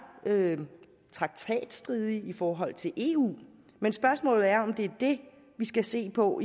traktatstridige i forhold til eu men spørgsmålet er om det er det vi skal se på